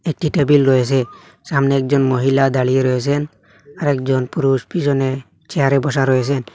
একটি টেবিল রয়েছে সামনে একজন মহিলা দাঁড়িয়ে রয়েছেন আরেকজন পুরুষ পিছনে চেয়ারে বসা রয়েছেন।